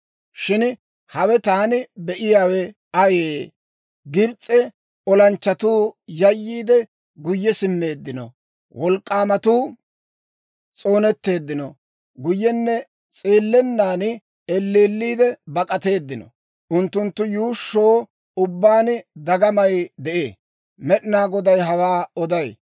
«Shin hawe taani be'iyaawe ayee? Gibs'e olanchchatuu yayyiide, guyye simmeeddino. Wolk'k'aamatuu s'oonetteeddino; guyyenne s'eellennan elleelliide bak'ateeddino. Unttunttu yuushsho ubbaan dagamay de'ee! Med'inaa Goday hawaa oday.